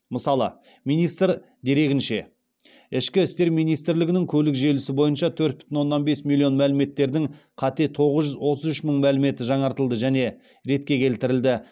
мысалы министр дерегінше ішкі істер министрлігінің көлік желісі бойынша төрт бүтін оннан бес миллион мәліметтердің қате тоғыз жүз отыз үш мың мәліметі жаңартылды және ретке келтірілді